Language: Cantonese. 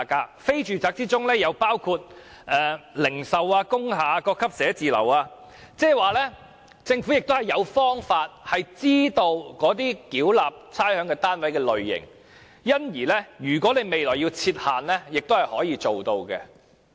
在非住宅中，亦包括零售、工廈、各級寫字樓等單位，亦即是說政府有方法知道繳納差餉單位的類型，所以如果政府要在未來設限也是可行的。